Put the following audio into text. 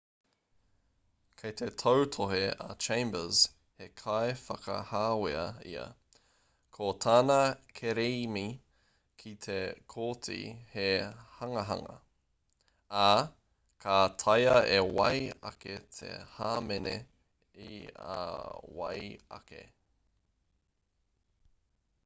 kei te tautohe a chambers he kaiwhakahāwea ia ko tana kerēmi ki te kōti he hangahanga ā ka taea e wai ake te hāmene i a wai ake